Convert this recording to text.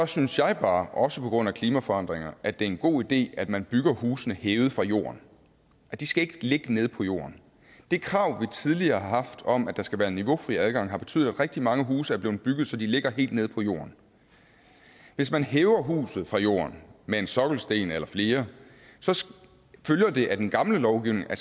synes jeg bare også på grund af klimaforandringerne at det er en god idé at man bygger husene hævet fra jorden de skal ikke ligge nede på jorden det krav vi tidligere har haft om at der skal være niveaufri adgang har betydet at rigtig mange huse er blevet bygget så de ligger helt nede på jorden hvis man hæver huset fra jorden med en sokkelsten eller flere følger det af den gamle lovgivning at